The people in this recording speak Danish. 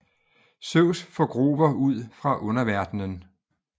Zeus får Grover ud fra underverdenen